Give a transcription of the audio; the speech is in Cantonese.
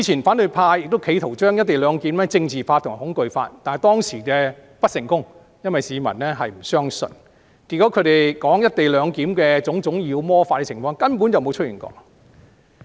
反對派之前亦企圖將"一地兩檢"政治化和恐懼化，但他們當時不成功，因為市民不相信，結果他們就"一地兩檢"提出的種種妖魔化狀況根本沒有出現。